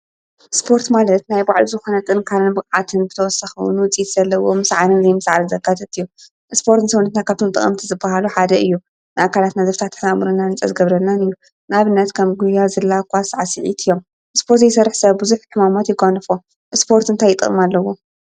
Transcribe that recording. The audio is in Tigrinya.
ስፖርት ማለት ናይ ባዕሉ ዝኽነ ጥንካረን ብቕዓትን ብተወሳኺ እዉን ዉጽኢት ዘለዎም ምስዓርን ዘይምስዓርን ዘካተተ እዩ። ስፖርት ንሰዉነትና ካብቶም ጠቐምቲ ዝብሃሉ ሓደ እዩ። ንኣካላትና ዘፍታሕቱሕና ኣእምሮና ንጹር ዝገብረልናን እዩ። ንኣብነት ከም ጉያ፣ ዝላ ፣ኳስ ፣ ሳዕስዒት እዮም። ስፖርት ዘይሰርሕ ሰብ ብዙሕ ሕማማት ይጓንፎ። ስፖርት እንታይ ጥቕሚ ኣለዎ?